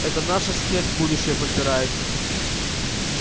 это наша смерть будущая подбирается